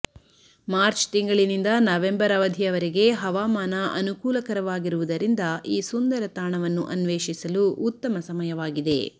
March ತಿಂಗಳಿನಿಂದ November ಅವಧಿಯವರೆಗೆ ಹವಾಮಾನ ಅನುಕೂಲಕರವಾಗಿರುವುದರಿಂದ ಈ ಸುಂದರ ತಾಣವನ್ನು ಅನ್ವೇಷಿಸಲು ಉತ್ತಮ ಸಮಯವಾಗಿದೆ